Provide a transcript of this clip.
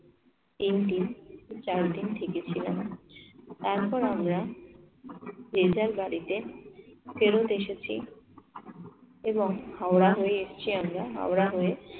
থেকেছিলাম। তারপর আমরা যে যার বাড়িতে ফেরত এসেছি এবং হাওড়া হয়ে এসছি আমরা হাওড়া হয়ে